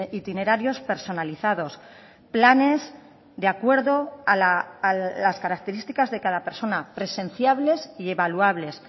itinerarios personalizados planes de acuerdo a las características de cada persona presenciables y evaluables